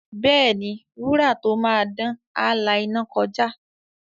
Bẹ́ẹ̀ni, wúrà tó máa dán, á la iná kọjá.